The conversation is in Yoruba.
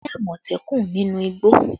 We saw a Leopard in the forest